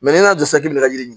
n'i y'a dɔn k'i bɛ ka yiri